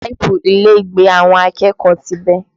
Páìpù ilé ìgbẹ́ àwọn akẹ́kọ̀ọ́ ti bẹ́